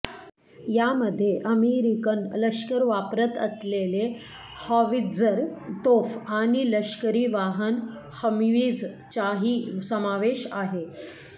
यामध्ये अमेरिकन लष्कर वापरत असलेले हॉवित्जर तोफ आणि लष्करी वाहन हम्वीजचाही समावेश आहे